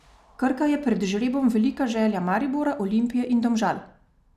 Krka je pred žrebom velika želja Maribora, Olimpije in Domžal.